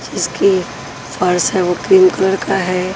जिसकी फर्स है वो क्रीम कलर का है।